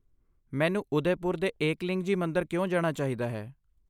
ਮੈਨੂੰ ਉਦੈਪੁਰ ਦੇ ਏਕਲਿੰਗਜੀ ਮੰਦਿਰ ਕਿਉਂ ਜਾਣਾ ਚਾਹੀਦਾ ਹੈ?